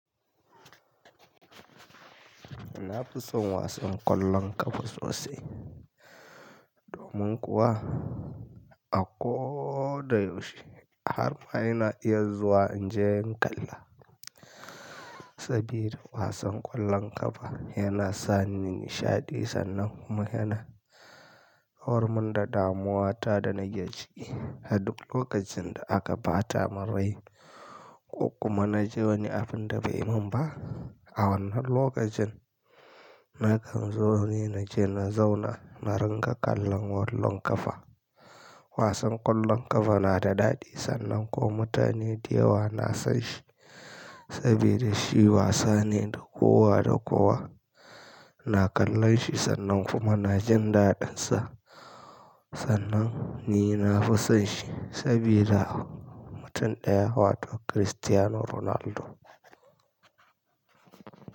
Ina fison wasan kwallon ƙafa sosai. Domin kuwa a ko da yaushe har ma ina iya zuwa inje in kalla. Sabida wasan ƙwallon ƙafa yana sani nishaɗi sannan kuma yana horar mun da damuwa ta da nake ciki. A duk lokacin da aka bata mun rai ko kuma na ji wani abin da bai mun ba. A wannan lokacin, nakan zo ni naje na zauna na ringa kallon ƙwallon ƙafa. Wasan ƙwallon ƙafa na da daɗi sannan kuma mutane da yawa na son shi. Sabida shi wasa ne na kowa da kowa na kallon shi sannan kuma na jin daɗin sa. Sannan ni na fi son shi sabida mutum ɗaya, wato Cristiano Ronaldo.